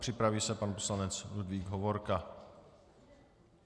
Připraví se pan poslanec Ludvík Hovorka.